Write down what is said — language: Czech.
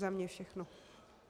Za mě všechno.